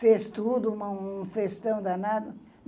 Fez tudo, uma um festão danado.